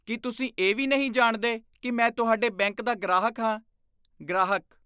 ਕੀ ਤੁਸੀਂ ਇਹ ਵੀ ਨਹੀਂ ਜਾਣਦੇ ਕੀ ਮੈਂ ਤੁਹਾਡੇ ਬੈਂਕ ਦਾ ਗ੍ਰਾਹਕ ਹਾਂ? ਗ੍ਰਾਹਕ